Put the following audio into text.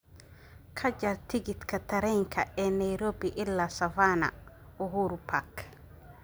Ka jar tigidhka tareenka ee Nairobi ilaa Savannah Uhuru Park